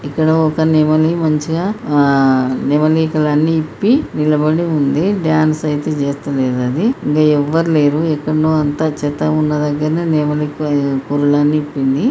ఇక్కడ ఒక నెమలి మంచిగా ఆ నెమలి ఈకలు అన్ని ఇప్పి నిలబడి ఉంది డాన్స్ అయితే చేస్తలేదు అది ఇంకా ఎవ్వరు లేరు ఎక్కడనో అంతా చెత్త ఉన్న దెగ్గారనే నెమలి కా కురులు అన్ని ఇపింది .